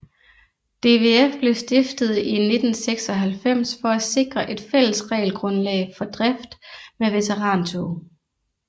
DVF blev stiftet i 1996 for at sikre et fælles regelgrundlag for drift med veterantog